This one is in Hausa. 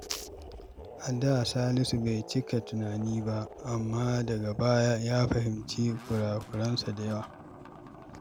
A da, Salisu bai cika tunani ba, amma daga baya ya fahimci kurakuransa da yawa.